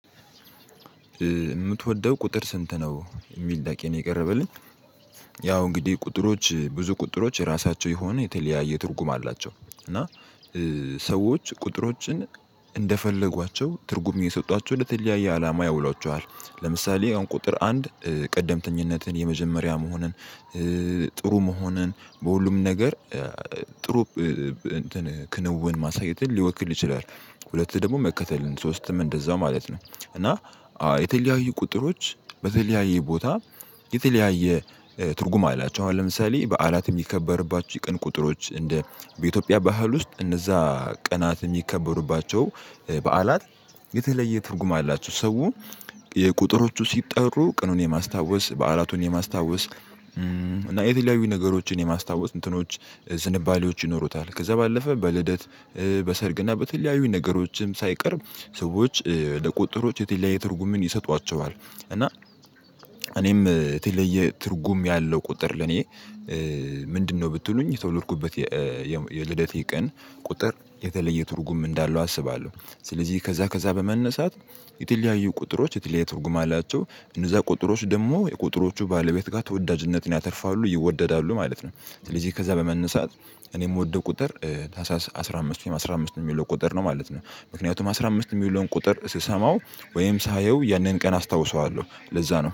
የምትወደው ቁጥር ስንት ነው የሚል ጥያቄ ነው የቀረበልኝ። ያው እንግዲህ ቁጥሮች ብዙ ቁጥሮች የራሳቸው የሆነ የተለያየ ትርጉም አላቸው። እና ሰዎች ቁጥሮችን እንደፈለጓቸው ትርጉም የሰጧቸው ለተለያየ አላማ ያውሏቸዋል ለምሳሌ አሁን ቁጥር አንድ ቀደምተኝነትን የመጀመሪያ መሆንን ጥሩ መሆንን በሁሉም ነገር ጥሩ እንትን ክንውን ማሳየትን ሊወክል ይችላል። ሁለት ደግሞ መከተልን ሶስትም እንደዛው ማለት ነው። እና የተለያዩ ቁጥሮች በተለያየ ቦታ የተለያየ ትርጉም አላቸው። አሁን ለምሳሌ በዓላት የሚከበርባቸው የቀን ቁጥሮች እንደ በኢትዮጵያ ባህል ውስጥ እነዛ ቀናት የሚከበሩባቸው በዓላት የተለየ ትርጉም አላቸው። ሰው የቁጥሮቹ ሲጠሩ ቅኑን የማስታወስ በዓላቱን የማስታወስ እና የተለያዩ ነገሮችን የማስታወስ እንትኖች ስንባሌዎች ይኖሩታል። ከዛ ባለፈ በልደት በሰርግና በተለያዩ ነገሮችም ሳይቀር ሰዎች ለቁጥሮች የተለያየ ትርጉምን ይሰጧቸዋል። እና እኔም የተለየ ትርጉም ያለው ቁጥር ለኔ ምንድነው? ብትሉኝ የተወለድኩበት የልደቴ ቀን ቁጥር የተለየ ትርጉም እንዳለው አስባለሁ። ስለዚህ ከዛ ከዛ በመነሳት የተለያዩ ቁጥሮች የተለያዩ ትርጉም አላቸው። እነዛ ቁጥሮች ደግሞ የቁጥሮቹ ባለቤት ጋር ተወዳጅነትን ያተርፋሉ ይወደዳሉ ማለት ነው። ስለዚህ ከዛ በመነሳት እኔ የምወደው ቁጥር ታህሳስ አስራ አምስት አስራ አምስት የሚለው ቁጥር ነው ማለት ነው። ምክንያቱም አስራ አምስት የሚለውን ቁጥር ስሰማው ወይም ሳየው ያንን ቀን አስታውሰዋለሁ ለዛ ነው